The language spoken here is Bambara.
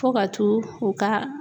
Fo ka t'u u ka